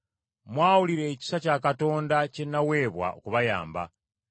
Mwawulira ekisa kya Katonda kye naweebwa okubayamba.